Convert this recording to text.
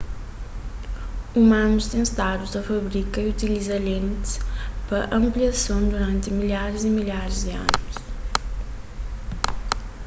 umanus ten stadu ta fabrika y utiliza lentis pa anpliason duranti milharis y milharis di anus